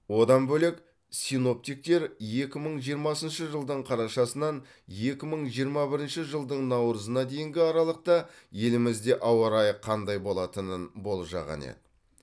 одан бөлек синоптиктер екі мың жиырмасыншы жылдың қарашасынан екі мың жиырма бірінші жылдың наурызына дейінгі аралықта елімізде ауа райы қандай болатынын болжаған еді